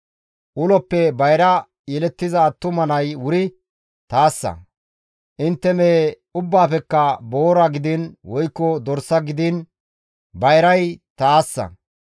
«Uloppe bayra yelettiza attuma nay wuri taassa; intte mehe ubbaafekka boora gidiin, woykko dorsa gidiin bayray taassa;